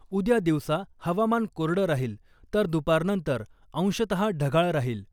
उद्या दिवसा हवामान कोरडं राहील तर दुपारनंतर अंशतहा ढगाळ राहील .